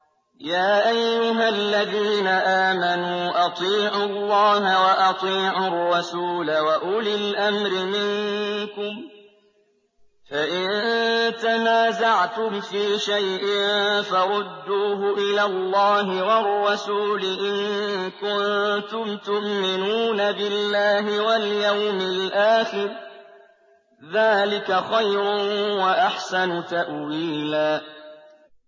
يَا أَيُّهَا الَّذِينَ آمَنُوا أَطِيعُوا اللَّهَ وَأَطِيعُوا الرَّسُولَ وَأُولِي الْأَمْرِ مِنكُمْ ۖ فَإِن تَنَازَعْتُمْ فِي شَيْءٍ فَرُدُّوهُ إِلَى اللَّهِ وَالرَّسُولِ إِن كُنتُمْ تُؤْمِنُونَ بِاللَّهِ وَالْيَوْمِ الْآخِرِ ۚ ذَٰلِكَ خَيْرٌ وَأَحْسَنُ تَأْوِيلًا